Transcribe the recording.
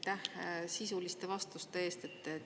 Aitäh sisuliste vastuste eest!